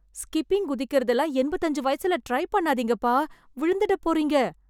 skipping குதிக்கறது எல்லாம் எம்பத்து அஞ்சு வயசுல ட்ரை பண்ணாதீங்கப்பா... விழுந்திடப் போறீங்க...